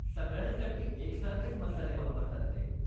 सगळ्यांसाठी एकसारखेच मसाले वापरतात ते.